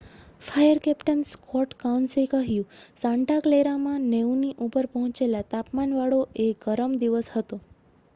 "Fire captain Scott કાઉન્સે કહ્યું "Santa ક્લેરામાં 90ની ઉપર પહોંચેલા તાપમાનવાળો એ ગરમ દિવસ હતો.